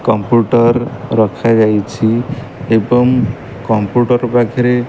computer ରଖାଯାଇଛି ଏବଂ computer ପାଖରେ --